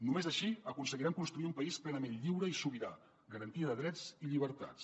només així aconseguirem construir un país plenament lliure i sobirà garantia de drets i llibertats